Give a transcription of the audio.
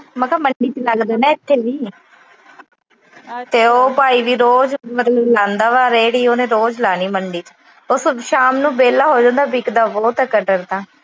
ਮੈਂ ਕਿਹਾ ਮੰਡੀ ਚ ਲੱਗਦਾ ਇੱਥੇ ਵੀ। ਤੇ ਉਹ ਭਾਈ ਵੀ ਮਤਲਬ ਰੋਜ ਲਾਂਦਾ ਵਾ ਰੇਹੜੀ। ਉਹਨੇ ਰੋਜ ਲਾਣੀ ਮੰਡੀ। ਉਹ ਸ਼ਾਮ ਨੂੰ ਵਿਹਲਾ ਹੋ ਜਾਂਦਾ, ਵਿਕਦਾ ਬਹੁਤ ਆ ਕਟਹਲ ਤਾਂ।